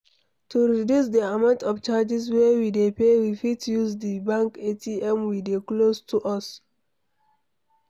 To reduce di amount of charges wey we dey pay we fit use di bank ATM we dey close to us